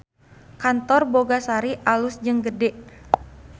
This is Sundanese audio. Kantor Boga Sari alus jeung gede